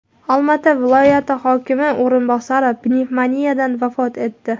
Olmaota viloyati hokimi o‘rinbosari pnevmoniyadan vafot etdi.